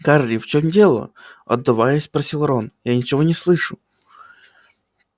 гарри в чём дело отдуваясь спросил рон я ничего не слышу